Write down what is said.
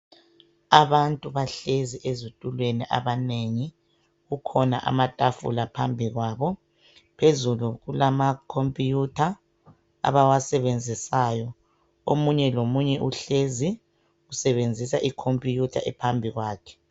Abantu bahlezi ezitulweni abanengi, kukhona amatafula phambi kwabo. Phezulu kulama computer abawasebenzisayo. Omunye lomunye uhlezi usebenzisa icomputer ephambi kwakhe